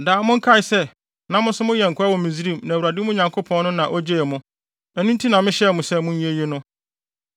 Daa monkae sɛ, na mo nso moyɛ nkoa wɔ Misraim na Awurade, mo Nyankopɔn no, na ogyee mo. Ɛno nti na mehyɛ mo sɛ monyɛ eyi no.